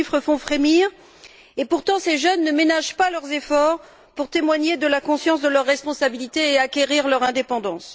Ces chiffres font frémir et, pourtant, ces jeunes ne ménagent pas leurs efforts pour témoigner de la conscience de leurs responsabilités et acquérir leur indépendance.